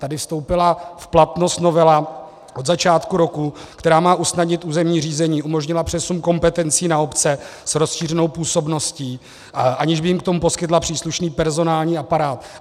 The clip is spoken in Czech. Tady vstoupila v platnost novela od začátku roku, která má usnadnit územní řízení, umožnila přesun kompetencí na obce s rozšířenou působností, aniž by jim k tomu poskytla příslušný personální aparát.